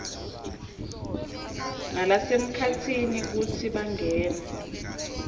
nalasemkhatsini kutsi bangene